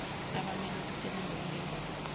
abammele abasebenza kulemboni